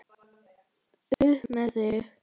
Upp með þig!